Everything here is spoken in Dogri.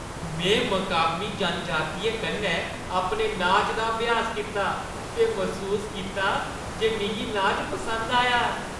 में मकामी जनजातियें कन्नै अपने नाचै दा अभ्यास कीता ते मसूस कीता जे मिगी नाच पसंद आया।